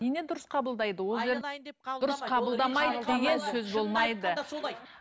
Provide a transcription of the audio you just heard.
дұрыс қабылдайды